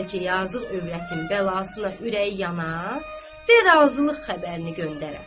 Bəlkə yazıq övrətin bəlasına ürəyi yana, və razılıq xəbərini göndərə.